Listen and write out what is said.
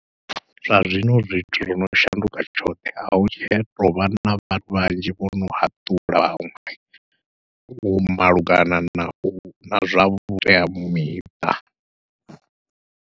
Zwa zwino zwithu zwono shanduka tshoṱhe ahu tshena ahu tovha na vhathu vhanzhi vhono haṱulwa vhaṅwe vho malugana nau na zwa vhuteamiṱa.